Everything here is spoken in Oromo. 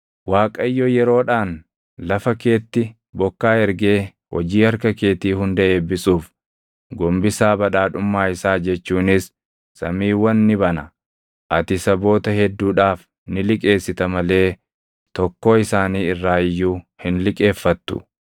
Waaqayyo yeroodhaan lafa keetti bokkaa ergee hojii harka keetii hunda eebbisuuf gombisaa badhaadhummaa isaa jechuunis samiiwwan ni bana. Ati saboota hedduudhaaf ni liqeessita malee tokkoo isaanii irraa iyyuu hin liqeeffattu.